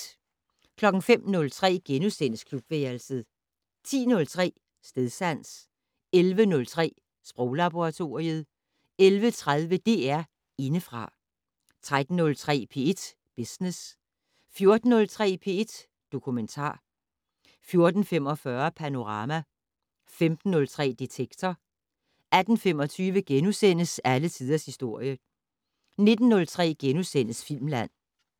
05:03: Klubværelset * 10:03: Stedsans 11:03: Sproglaboratoriet 11:30: DR Indefra 13:03: P1 Business 14:03: P1 Dokumentar 14:45: Panorama 15:03: Detektor 18:25: Alle tiders historie * 19:03: Filmland *